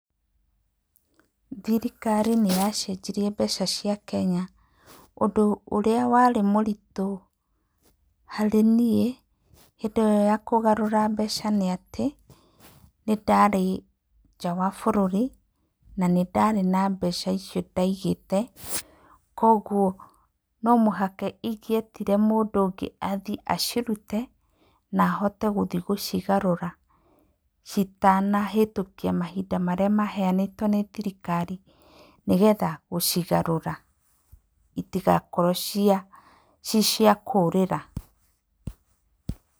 Thirikari ni yacenjirie mbeca cia Kenya. Ũndũ ũrĩa warĩ mũritũ harĩ niĩ hĩndĩ ĩyo ya kũgarũra mbeca nĩ atĩ, nĩ ndarĩ nja wa bũrũri na nĩ ndarĩ na mbeca icio ndaigĩte. Kwoguo no mũhaka ingĩetire mũndũ ũngĩ athiĩ acirute na ahote gũthiĩ gũcigarũra citanahĩtũkia mahinda marĩa maheanĩtwo nĩ thirikari. Nigetha gũcigarũra itigakorwo cii cia kũũrĩra.